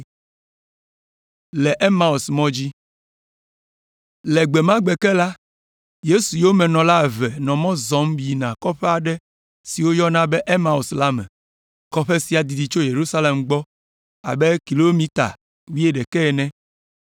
Le gbe ma gbe ke la, Yesu yomenɔla eve nɔ mɔ zɔm yina kɔƒe aɖe si woyɔna be Emaus la me. Kɔƒe sia didi tso Yerusalem gbɔ abe kilomita wuiɖekɛ ene.